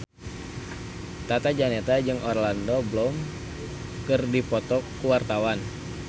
Tata Janeta jeung Orlando Bloom keur dipoto ku wartawan